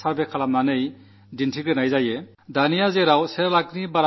ഇപ്പോൾ ഒരു ലക്ഷത്തിലധികം ജനസംഖ്യയുള്ള 500 ഓളം നഗരങ്ങളുടെ ഊഴമാണ്